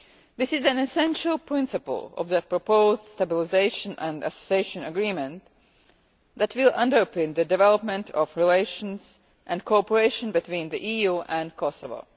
This is an essential principle of the proposed Stabilisation and Association Agreement that will underpin the development of relations and cooperation between the EU and Kosovo.